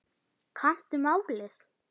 Kannaðu málið.